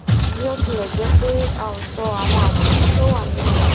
bí ó tilẹ jẹ pé a sọ àwọn àǹfààní tó wà nínú rẹ